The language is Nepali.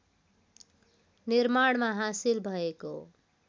निर्माणमा हासिल भएको